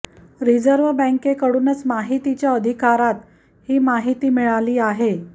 reserve बॅंकेकडूनच माहितीच्या अधिकारात ही माहिती मिळाली आहे